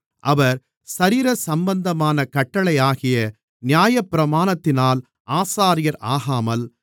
அவர் சரீர சம்பந்தமான கட்டளையாகிய நியாயப்பிரமாணத்தினால் ஆசாரியர் ஆகாமல்